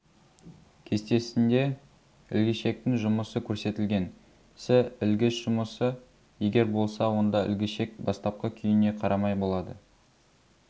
кестесінде ілгішектің жұмысы көрсетілген сі ілгіш жұмысы егер болса онда ілгішек бастапқы күйіне қарамай болады